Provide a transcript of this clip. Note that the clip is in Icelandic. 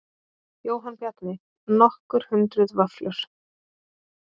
Jóhann Bjarni: Nokkur hundruð vöfflur?